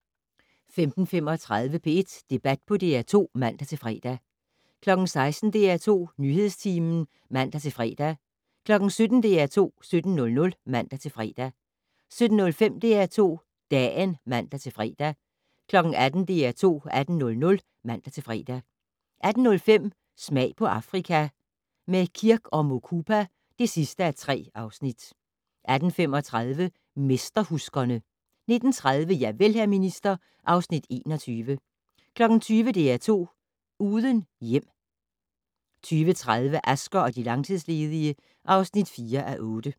15:35: P1 Debat på DR2 (man-fre) 16:00: DR2 Nyhedstimen (man-fre) 17:00: DR2 17:00 (man-fre) 17:05: DR2 Dagen (man-fre) 18:00: DR2 18:00 (man-fre) 18:05: Smag på Afrika - med Kirk & Mukupa (3:3) 18:35: Mesterhuskerne 19:30: Javel, hr. minister (Afs. 21) 20:00: DR2 Uden hjem 20:30: Asger og de langtidsledige (4:8)